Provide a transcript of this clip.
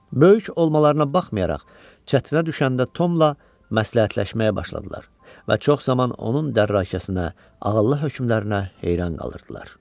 Böyük olmalarına baxmayaraq, çətinə düşəndə Tomla məsləhətləşməyə başladılar və çox zaman onun dərrakəsinə, ağıllı hökmlərinə heyran qalırdılar.